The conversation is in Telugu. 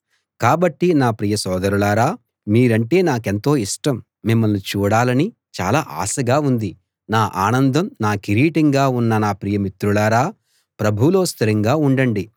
కాబట్టి నా ప్రియ సోదరులారా మీరంటే నాకెంతో ఇష్టం మిమ్మల్ని చూడాలని చాలా ఆశగా ఉంది నా ఆనందం నా కిరీటంగా ఉన్న నా ప్రియ మిత్రులారా ప్రభువులో స్థిరంగా ఉండండి